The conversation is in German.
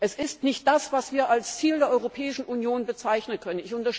Es ist nicht das, was wir als Ziel der Europäischen Union bezeichnen können.